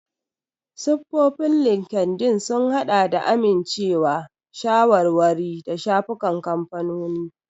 Siffofin Linkedln sun haɗa da amincewa, shawarwari, da shafukan kamfanoni.